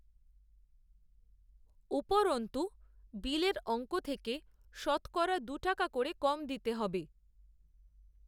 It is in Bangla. উপরন্ত্ত, বিলের, অঙ্ক থেকে শতকরা, দু টাকা করে কম দিতে হবে